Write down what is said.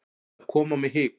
Það kom á mig hik.